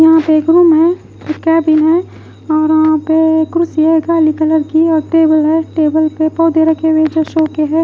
यहाँ पे एक रूम है कैबिन है और वहाँ पे कुर्सी है काली कलर की और टेबल है टेबल पे पौधे रखे हुए जो शो के है।